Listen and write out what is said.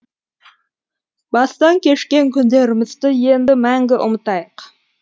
бастан кешкен күндерімізді енді мәңгі ұмытайық